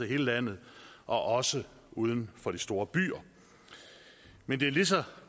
hele landet også uden for de store byer men det er lige så